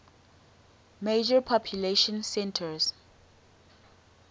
major population centers